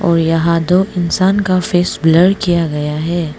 और यहां दो इंसान का फेस ब्लर किया गया है।